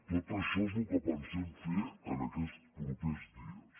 tot això és el que pensem fer aquests propers dies